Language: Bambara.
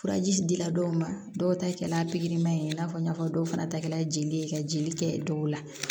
Furaji dira dɔw ma dɔw ta kɛra a pigiriman in n'a fɔ n y'a fɔ dɔw fana ta kɛra jeli ye ka jeli kɛ dɔw la